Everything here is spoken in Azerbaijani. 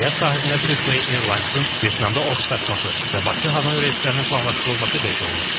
Nəqliyyat sahəsində Silkway Airlines-ın Vyetnamda ofis açması və Bakı Hanoy reyslərinin planlaşdırılması qeyd olunub.